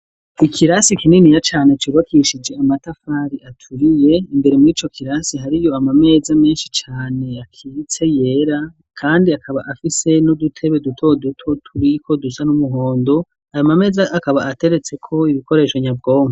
Ikirasi kinini ya cane cubakishije amatafari aturiye .Imbere murico kirasi hari yo ama meza menshi cane akiritse yera kandi akaba afise nUdutebe duto duto turiko dusa n'umuhondo ayo amameza akaba ateretse ko ibikoresho nyabwonko.